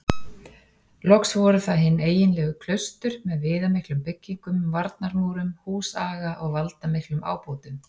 Loks voru það hin eiginlegu klaustur með viðamiklum byggingum, varnarmúrum, húsaga og valdamiklum ábótum.